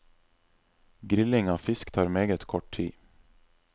Grilling av fisk tar meget kort tid.